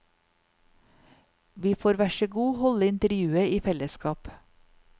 Vi får værsågod holde intervjuet i fellesskap.